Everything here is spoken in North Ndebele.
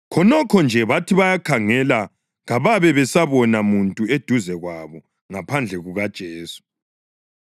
Khonokho nje bathi bayakhangela kababe besabona muntu eduze kwabo ngaphandle kukaJesu.